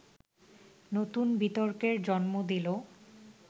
নতুন বিতর্কের জন্ম দিল